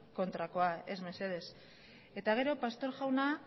kontrakoa ez mesedez eta gero pastor jauna